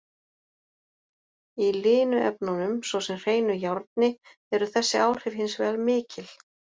Í linu efnunum, svo sem hreinu járni, eru þessi áhrif hins vegar mikil.